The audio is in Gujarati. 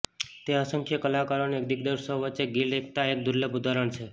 તે અસંખ્ય કલાકારો અને દિગ્દર્શકો વચ્ચે ગિલ્ડ એકતા એક દુર્લભ ઉદાહરણ છે